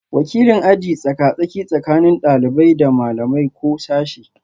Wakilin aji tsaka-tsaki tsakanin ɗalibai da malamai ko sashe